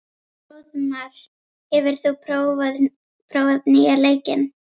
Hróðmar, hefur þú prófað nýja leikinn?